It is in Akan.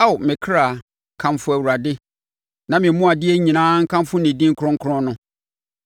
Ao me kra, kamfo Awurade; na me mu adeɛ nyinaa nkamfo ne din kronkron no.